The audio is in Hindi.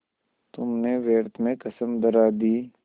तुमने व्यर्थ में कसम धरा दी